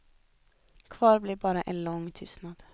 Kvar blev bara en lång tystnad.